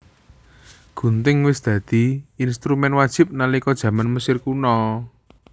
Gunting wis dadi instrumén wajib nalika jaman Mesir Kuna